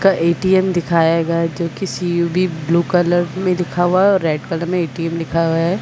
का ए_टी_एम दिखाया गया है जोकि सीयुबी ब्लू कलर में लिखा हुआ है और रेड में ए_टी_एम लिखा हुआ हैं ।